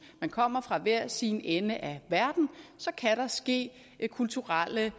kommer fra hver sin ende af verden kan der ske kulturelle